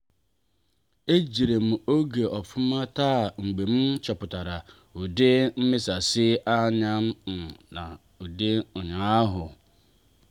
e jiderem oge ofuma taa mgbe m chọpụtara ụdị mmesasi anya um m dị ụnyaahụ.